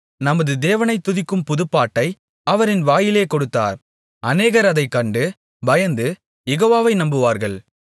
நமது தேவனைத் துதிக்கும் புதுப்பாட்டை அவர் என் வாயிலே கொடுத்தார் அநேகர் அதைக் கண்டு பயந்து யெகோவாவை நம்புவார்கள்